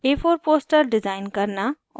* a4 poster design करना और